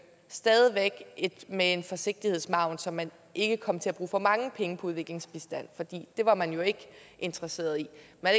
stadig væk med en sikkerhedsmargin så man ikke kom til at bruge for mange penge på udviklingsbistand for det var man jo ikke interesseret i